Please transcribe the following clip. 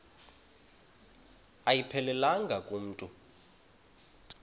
ayiphelelanga ku mntu